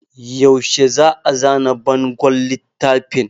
Yaushe za a zana bangon littafin?